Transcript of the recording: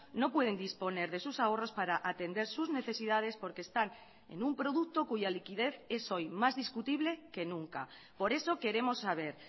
no pueden disponer de sus ahorros para atender sus necesidades porque están en un producto cuya liquidez es hoy más discutible que nunca por eso queremos saber